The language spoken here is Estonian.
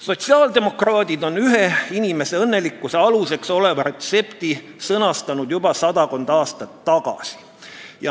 Sotsiaaldemokraadid on ühe inimese õnnelikkuse aluseks oleva retsepti sõnastanud juba sadakond aastat tagasi.